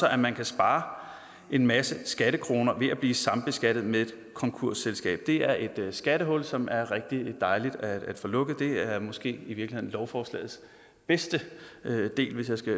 at man kan spare en masse skattekroner ved at blive sambeskattet med et konkursselskab det er et skattehul som er rigtig dejligt at få lukket det er måske i virkeligheden lovforslagets bedste del hvis jeg skal